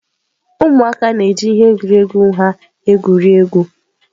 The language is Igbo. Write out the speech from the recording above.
ụmụaka na-eji ihe egwuregwu ha egwuri egwu.